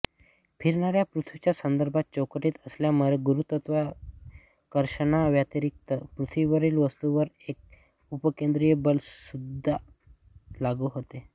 फिरणाऱ्या पृथ्वीच्या संदर्भ चौकटीत असल्यामुळे गुरुत्वाकर्षणाव्यतिरिक्त पृथ्वीवरील वस्तूवर एक अपकेंद्री बल सुद्धा लागू होते